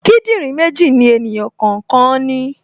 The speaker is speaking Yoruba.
Kíndìnrín méjì ni ènìyàn kọ̀ọ̀kan ní